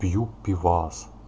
пью пивас